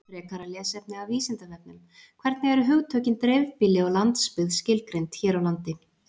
Frekara lesefni af Vísindavefnum: Hvernig eru hugtökin dreifbýli og landsbyggð skilgreind hér á landi?